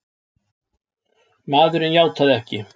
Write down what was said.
Maðurinn játaði ekki!